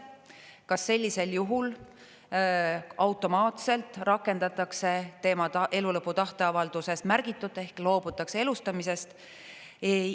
Kas sellisel juhul automaatselt rakendatakse tema elulõpu tahteavalduses märgitut ehk loobutakse elustamisest?